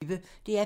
DR P1